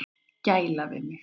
Gæla við mig.